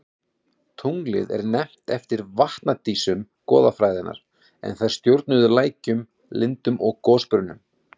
Tunglið er nefnt eftir vatnadísum goðafræðinnar en þær stjórnuðu lækjum, lindum og gosbrunnum.